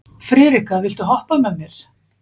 Friðrikka, viltu hoppa með mér?